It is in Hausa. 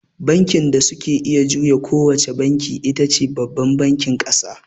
Bankin da suke iya juya ko wace banki itace babban bankin ƙasa.